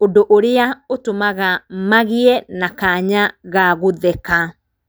ũndũ ũrĩa ũtũmaga magĩe na kanya gagũtheka.